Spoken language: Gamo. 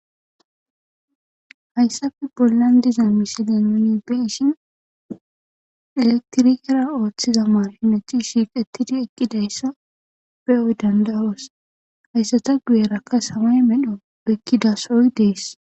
Hayssape bollan diza misilee nuuni be7ishin elektrikera ooththiza maashithi dishin eqqidi eqqidayssi be7o dandda7oos; haysatha guyeerakka samaye medho oykkida sohoy dees.